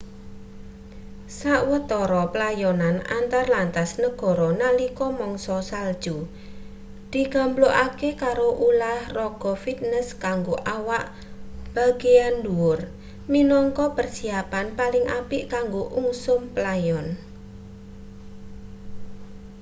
sawetara playonan antar lantas negara nalika mangsa salju digamblokake karo ulah raga fitnes kanggo awak bagean ndhuwur minangka persiyapan paling apik kanggo ungsum playon